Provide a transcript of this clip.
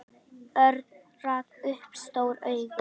Örn rak upp stór augu.